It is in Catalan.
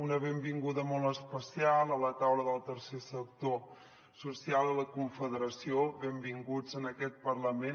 una benvinguda molt especial a la taula del tercer sector social a la confederació benvinguts en aquest parlament